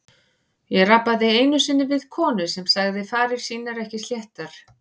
Ég rabbaði einu sinni við konu sem sagði farir sínar ekki sléttar.